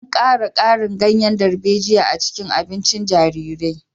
An ƙara garin ganyen darbejiya a cikin abincin jaririn